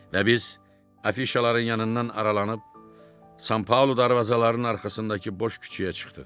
Və biz afişaların yanından aralanıb San Paolo darvazalarının arxasındakı boş küçəyə çıxdıq.